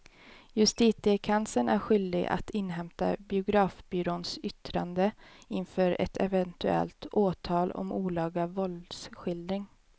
Justitiekanslern är skyldig att inhämta biografbyråns yttrande inför ett eventuellt åtal om olaga våldsskildring.